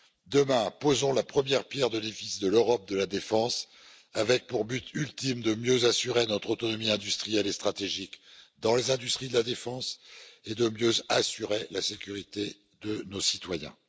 Demain, posons la première pierre de l'édifice de l'Europe de la défense, avec pour buts ultimes de mieux assurer notre autonomie industrielle et stratégique dans les industries de la défense et de mieux assurer la sécurité de nos citoyens.